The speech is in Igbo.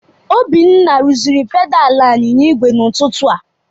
Obinna rụziri pedalị anyịnya igwe n'ụtụtụ a.